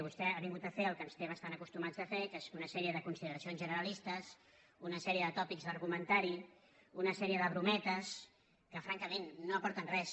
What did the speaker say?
vostè ha vingut a fer el que ens té bastant acostumats a fer que és una sèrie de consideracions generalistes una sèrie de tòpics d’argumentari una sèrie de brometes que francament no aporten res